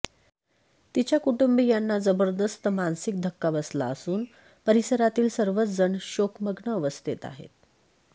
तिच्या कुटुंबियांना जबरदस्त मानसिक धक्का बसला असून परिसरातील सर्वच जण शोकमग्न अवस्थेत आहेत